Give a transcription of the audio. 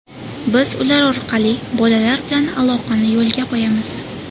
Biz ular orqali bolalar bilan aloqani yo‘lga qo‘yamiz.